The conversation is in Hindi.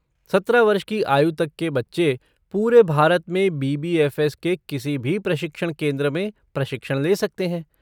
सत्रह वर्ष की आयु तक के बच्चे पूरे भारत में बी.बी.एफ़.एस. के किसी भी प्रशिक्षण केंद्र में प्रशिक्षण ले सकते हैं।